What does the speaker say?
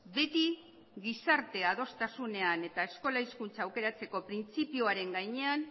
beti gizarte adostasunean eta eskola hizkuntza aukeratzeko printzipioaren gainean